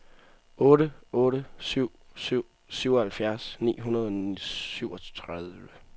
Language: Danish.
otte otte syv syv syvoghalvfjerds ni hundrede og syvogtredive